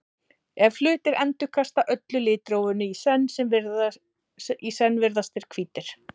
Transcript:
ef hlutir endurkasta öllu litrófinu í senn virðast þeir hvítir